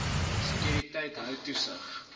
sekuriteit hou toesig